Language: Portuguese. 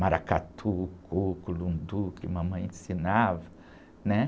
Maracatu, que mamãe ensinava, né?